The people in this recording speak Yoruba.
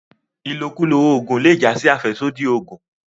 ilokulo oògùn le já sí afẹsodi ògùn.